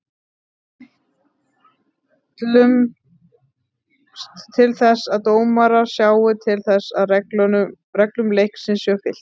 Við ætlumst til þess að dómarar sjái til þess að reglum leiksins sé fylgt.